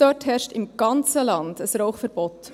Dort herrscht im ganzen Land ein Rauchverbot.